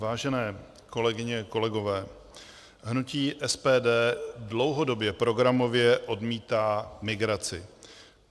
Vážené kolegyně, kolegové, hnutí SPD dlouhodobě programově odmítá migraci.